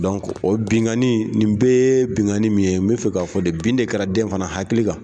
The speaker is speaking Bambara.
o binganni, nin bɛɛ ye binganni min ye, n me fɛ k'a fɔ de, bin de kɛra den fana hakili kan.